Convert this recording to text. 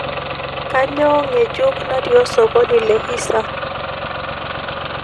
kanyoo ngejuk natii osokoni le hisa